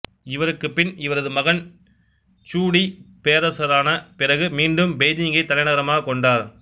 இவருக்குப் பின் இவரது மகன் ச்சூ டி பேரரசரான பிறகு மீண்டும் பெய்ஜிங்கைத் தலைநகரமாகக் கொண்டார்